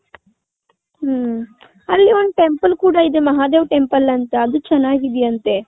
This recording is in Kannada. ಹ್ಮ್ಮ್. ಅಲ್ಲಿ ಒಂದು temple ಕೂಡ ಇದೆ ಮಹದೇವ್ temple ಅಂತ ಚೆನ್ನಾಗ್ ಇದೆ ಅಂತೆ .